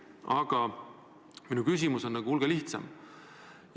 Aga minu küsimus on hulga lihtsam.